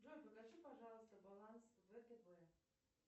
джой покажи пожалуйста баланс втб